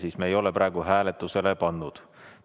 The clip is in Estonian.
Aga me ei ole praegu hääletusele pannud.